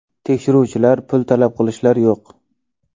Tekshiruvchilar, pul talab qilishlar yo‘q.